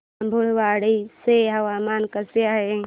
बाभुळवाडी चे हवामान कसे आहे